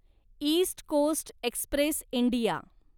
east coast express India